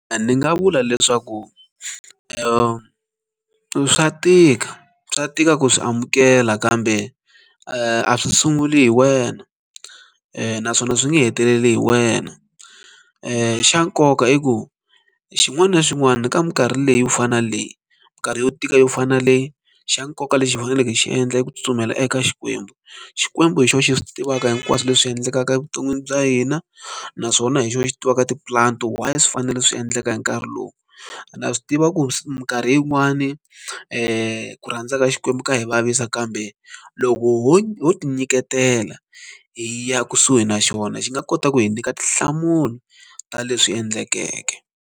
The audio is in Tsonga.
Ni nga vula leswaku swa tika swa tika ku swi amukela kambe a swi sunguli hi wena naswona swi nge heteleli hi wena xa nkoka i ku xin'wana na xin'wana ni ka minkarhi leyi wu fana na leyi minkarhi yo tika yo fanele xa nkoka lexi hi faneleke hi xi endla i ku tsutsumela eka xikwembu xikwembu hi xona xi swi tivaka hinkwaswo leswi endlekaka evuton'wini bya hina naswona hi xona xi tivaka tipulani why swi fanele swi endleka hi nkarhi lowu ndza swi tiva ku minkarhi yin'wani ku rhandza ka xikwembu ka hi vavisa kambe loko ho ho ti nyiketela hi ya kusuhi na xona xi nga kota ku hi nyika tinhlamulo ta leswi endlekeke.